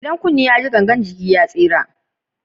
Idan kunne ta ji gangan jiki ta tsira.